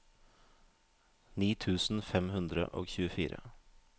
ni tusen fem hundre og tjuefire